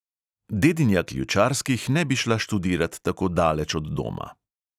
Dedinja ključarskih ne bi šla študirat tako daleč od doma.